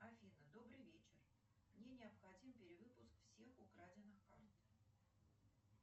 афина добрый вечер мне необходим перевыпуск всех украденных карт